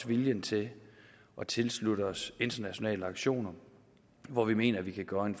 viljen til at tilslutte os internationale aktioner hvor vi mener vi kan gøre en